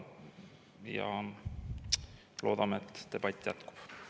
Ja loodame, et debatt jätkub.